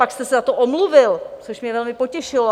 Pak jste se za to omluvil, což mě velmi potěšilo.